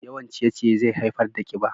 Yawan ciye-ciye zai haifar da kiba.